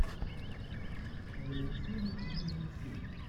валентин и валентина